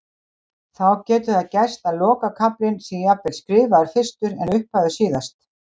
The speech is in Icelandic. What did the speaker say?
þá getur það gerst að lokakaflinn sé jafnvel skrifaður fyrstur en upphafið síðast